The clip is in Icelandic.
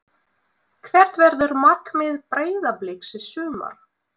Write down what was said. Hvert verður markmið Breiðabliks í sumar?